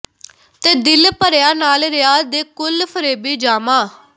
ਤੇ ਦਿਲ ਭਰਿਆ ਨਾਲ ਰਿਆ ਦੇ ਕੁਲ ਫ਼ਰੇਬੀ ਜਾਮਾ